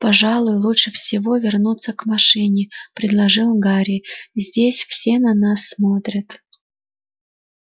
пожалуй лучше всего вернуться к машине предложил гарри здесь все на нас смотрят